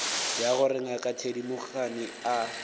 ya gore ngaka thedimogane a